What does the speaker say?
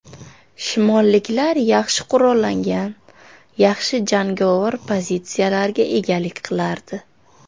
Shimolliklar yaxshi qurollangan, yaxshi jangovar pozitsiyalarga egalik qilardi.